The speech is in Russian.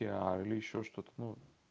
или ещё что-то ну